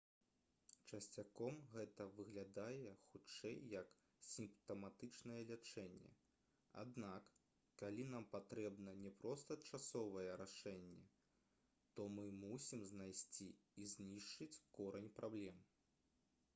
часцяком гэта выглядае хутчэй як сімптаматычнае лячэнне аднак калі нам патрэбна не проста часовае рашэнне то мы мусім знайсці і знішчыць корань праблем